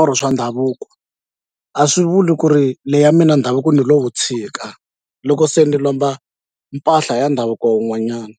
or swa ndhavuko a swi vuli ku ri leya mina ndhavuko ni lo wu tshika loko se ni lomba mpahla ya ndhavuko wun'wanyana.